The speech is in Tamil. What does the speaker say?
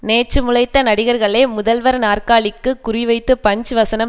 நேற்று முளைத்த நடிகர்களே முதல்வர் நாற்காலிக்கு குறிவைத்து பஞ்ச் வசனம்